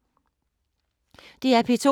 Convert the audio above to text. DR P2